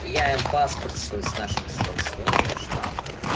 я им паспорт свой с нашим станционным штампом